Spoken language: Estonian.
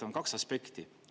On kaks aspekti.